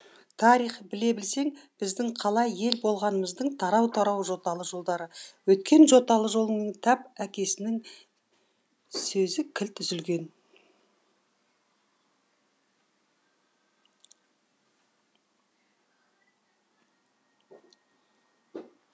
тарих біле білсең біздің қалай ел болғанымыздың тарау тарау жоталы жолдары өйткен жоталы жолыңның тап әкесінің сөзі кілт үзілген